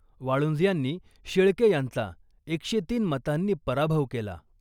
वाळुंज यांनी शेळके यांचा एकशे तीन मतांनी पराभव केला .